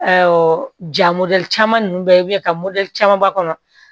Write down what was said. ja caman ninnu bɛɛ bɛ yen ka caman b'a kɔnɔ